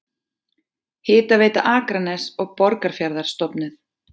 Hitaveita Akraness og Borgarfjarðar stofnuð.